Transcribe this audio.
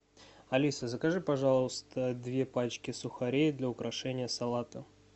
алиса закажи пожалуйста две пачки сухарей для украшения салата